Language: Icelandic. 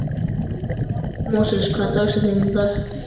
Móses, hver er dagsetningin í dag?